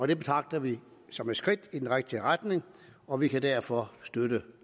det betragter vi som et skridt i den rigtige retning og vi kan derfor støtte